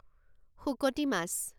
শুকতি মাছ